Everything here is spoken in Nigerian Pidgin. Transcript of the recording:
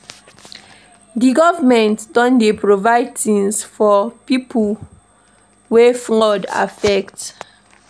Di government don dey do provide tins for pipo wey flood affect.